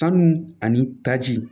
Sanu ani taji